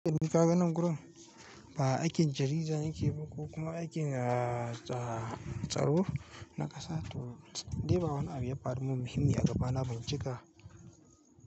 Ni fa ganin gurin ba aikin jarida yake ba ko kuma aikin, ah, tsaro na ƙasa to dai ba wani abu ya faru min muhimmi a gaba na bincika.